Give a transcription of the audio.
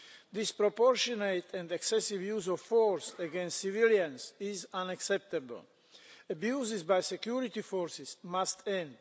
Disproportionate and excessive use of force against civilians is unacceptable. Abuses by security forces must end.